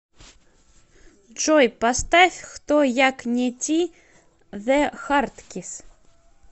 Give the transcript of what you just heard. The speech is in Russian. джой поставь хто як не ти зе хардкисс